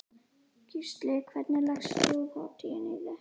Gísli: Hvernig leggst Þjóðhátíðin í þig?